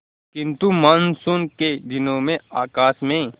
किंतु मानसून के दिनों में आकाश में